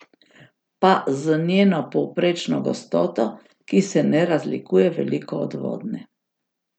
Pa z njeno povprečno gostoto, ki se ne razlikuje veliko od vodne.